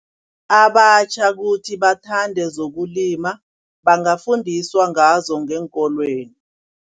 Abatjha kuthi bathande zokulima bangafundiswa ngazo ngeenkolweni.